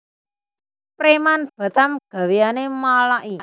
Preman Batam gaweane malaki